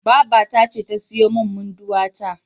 Babata ce ta siyo min Munduwa ta.